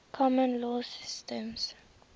common law systems